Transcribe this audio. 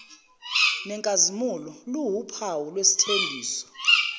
nenkazimulo liwuphawu lwesithembiso